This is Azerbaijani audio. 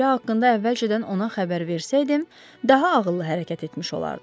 Təhlükə haqqında əvvəlcədən ona xəbər versəydim, daha ağıllı hərəkət etmiş olardım.